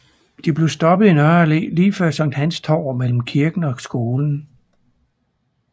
De blev stoppet i Nørre Allé lige før Sankt Hans Torv mellem kirken og skolen